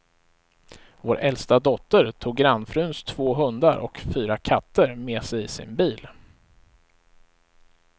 Vår äldsta dotter tog grannfruns två hundar och fyra katter med sig i sin bil.